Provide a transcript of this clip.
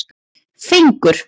Fengur